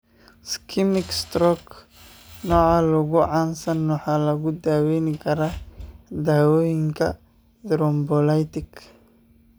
Ischemic stroke, nooca ugu caansan, waxaa lagu daweyn karaa daawooyinka thrombolytic.